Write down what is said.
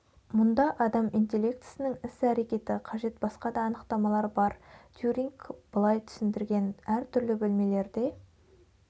мұнда адам интеллектісінің іс-әрекеті қажет басқа да анықтамалар да бар тьюринг былай түсіндірген әр түрлі бөлмелерде